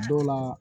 Dɔw la